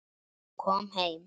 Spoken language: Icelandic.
Kom heim!